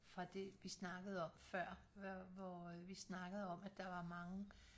Fra det vi snakkede om før hvor øh vi snakkede om at der var mange